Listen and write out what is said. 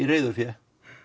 reiðufé